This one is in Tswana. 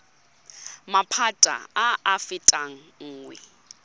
maphata a a fetang nngwe